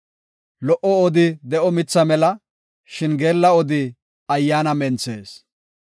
Lo77o odi de7o mitha mela; shin geella odi ayyaana menthees.